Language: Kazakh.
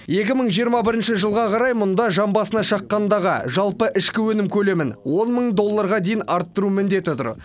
екі мың жиырма бірінші жылға қарай мұнда жан басына шаққандағы жалпы ішкі өнім көлемін он мың долларға дейін арттыру міндеті тұр